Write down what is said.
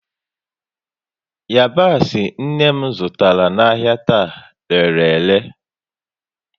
Yabasị nne m zụtara n'ahia taa, rere ele